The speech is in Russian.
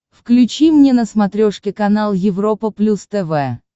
включи мне на смотрешке канал европа плюс тв